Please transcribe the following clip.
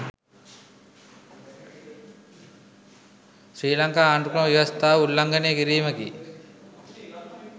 ශ්‍රී ලංකා ආණ්ඩුක්‍රම ව්‍යවස්ථාව උල්ලංඝනය කිරීමකි.